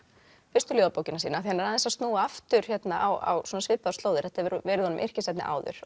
fyrstu ljóðabókina sína hann er aðeins að snúa aftur á svipaðar slóðir þetta hefur verið honum yrkisefni áður